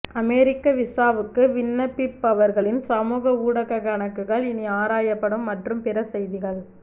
அமெரிக்க விசாவுக்கு விண்ணப்பிப்பவர்களின் சமூக ஊடக கணக்குகள் இனி ஆராயப்படும் மற்றும் பிற செய்திகள்